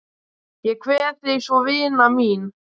Ég kveð þig svo vina mín.